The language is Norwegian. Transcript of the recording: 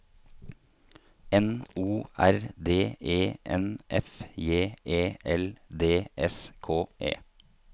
N O R D E N F J E L D S K E